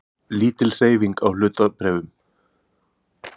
Lítil hreyfing á hlutabréfum